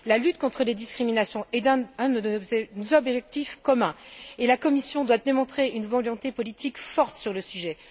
La lutte contre les discriminations est un de nos objectifs communs et la Commission doit démontrer une volonté politique forte sur le sujet.